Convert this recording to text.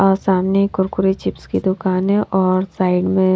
और सामने कुरकुरी चिप्स की दुकान है और साइड में।